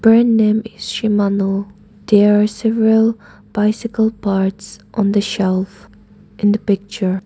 Brand name is shimano there several bicycle parts on the shelf in the picture.